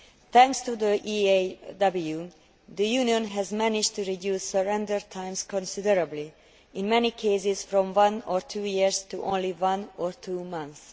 Thanks to the EAW, the Union has managed to reduce surrender times considerably, in many cases from one or two years to only one or two months.